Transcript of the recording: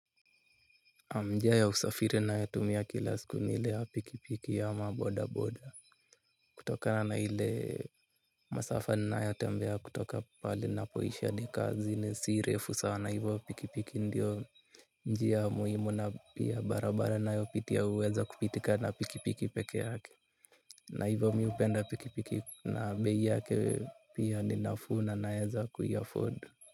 Njia ya usafiri nayotumia kila siku ni ile ya pikipiki ya boda boda kutokana na hile masafa ninayatembea kutoka pale napoisha ni kazi ni si refu sana hivyo pikipiki ndio njia muhimu na pia barabara nayopitia uweza kupitika na pikipiki peke yake. Na hivyo mi hupenda pikipiki na bei yake pia ni navuna naeza kuiaford.